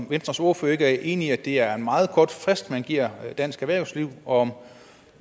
venstres ordfører ikke enig i at det er en meget kort frist man giver dansk erhvervsliv og